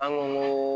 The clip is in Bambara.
An ko